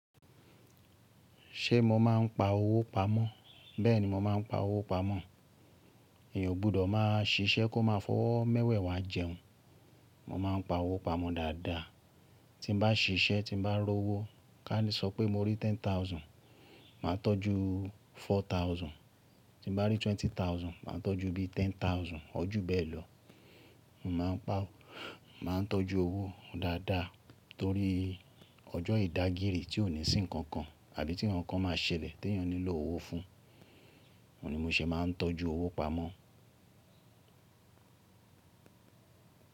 Ṣé mo máa ń pa owó pamọ́? Bẹ́ẹ̀ni mo máa ń pa owó pamọ́. Èèyàn ò gbọdọ̀ máa ṣiṣẹ́ kó máa fọ́wọ́ mẹ́wẹ̀ẹ̀wá jẹun. Mo máa ń pa owó pamọ̀ dáadáa. Tí mo bá ṣiṣẹ́ tí mo bá rọ́ owó, ká ní sọ pé mo rí ten thousand, màá tọ́jú four thousand. Tí mo bá rí twenty thousand, màá tọ́jú bíi ten thousand. Or ju bẹ́ẹ̀ lọ. Mo máa ń pa, máa ń tọ́jú owó dáadáa torí ọjọ́ ìdágírì tí ò ní sí nǹkan kan àbí tí nǹkan kan máa ṣẹlẹ̀ tí èèyàn nílò owó fún. Ó ni mo ṣe máa ń tọ́jú owó pamọ́